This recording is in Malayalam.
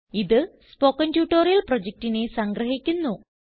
ഇത് സ്പോകെൻ ട്യൂട്ടോറിയൽ പ്രൊജക്റ്റിനെ സംഗ്രഹിക്കുന്നു